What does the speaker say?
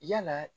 Yalaa